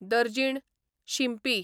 दर्जीण, शिंपी